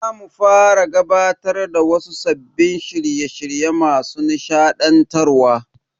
Za mu fara gabatar da wasu sabbin shirye shirye masu nishadantarwa.